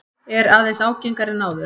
Er aðeins ágengari en áður.